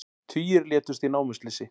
Tugir létust í námuslysi